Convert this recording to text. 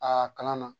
Aa kalan na